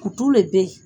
Kutu le bɛ yen